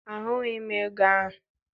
Ahụghị m ego ahụ.